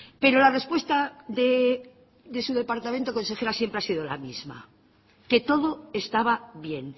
pero la respuesta de su departamento consejera siempre ha sido la misma que todo estaba bien